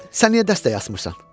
Sən niyə dəstək eləmirsən?